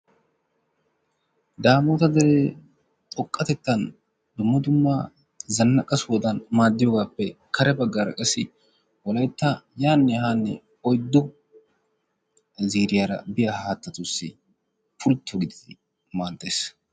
Daamoota deree xoqqatettaan dumma duuma zannaqa sohodan maaddiyoogappe kare baggaara qassi wolaytta yaanne haanne oyddu ziiriyaara biya haattatussi pultto gididi maaddees.